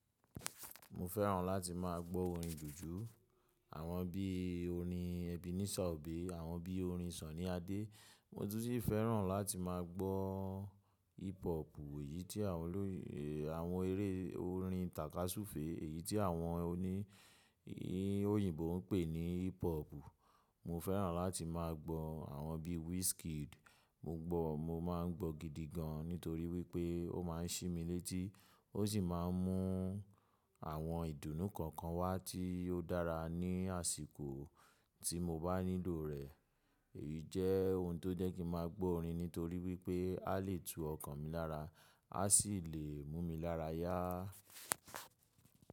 Mo fẹ́ràn láti má a gbọ́ orin jùjú, àwọn bí i orin Ebenezer Obey, àwọn bí i orin Sunny Adé. Mo tún si fẹ́ràn láti má a gbọ́ hip hopu èyí tí àwọn olóyinbo, àwọn eré orin tàka súfe, èyí tí àwọn òní òyìnbó ń pè ní hip hopu. Mo fẹ́ràn láti má a gbọ́ àwọn bí i Wizkid. Mo n gbọ́, mo má a ń gbọ́ gidi gan nítorí wípé ó má a ń ṣi mi létí, ó sì má a ń mú àwọn ìdùnnú kankan wá tí ó dára ní àsìkò tí mo bá nílò rẹ̀. Èyí jẹ́ ohun tó jẹ́ kí n maa gbọ́ orin nítorí wípé a lè tu ọkàn mi lára, a sì lè mú mi lára yá.